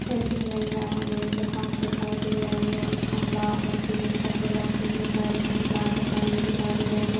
इस इमेज मुझे एक दुकान दिखाई दे रही है और उसमे लाल और पीले फग्गे लटके हुए दिखाई दे रहे है लाइटिंग लगी हुई दिखाई दे रही है।